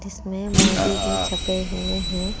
इसमें मोदी जी छपे हुए हैं।